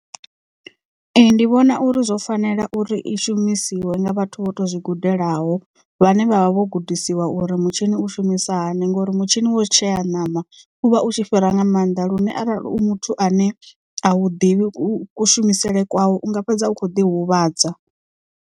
Ee ndi vhona uri zwo fanela uri i shumisiwe nga vhathu vho to zwigudelaho vhane vhavha vho gudisiwa uri mutshini u shumisa hani ngori mutshini wo tshea ṋama uvha u tshi fhira nga maanḓa lune arali u muthu ane a u ḓivhi ku shumisele kwayo unga fhedza u kho ḓi huvhadza.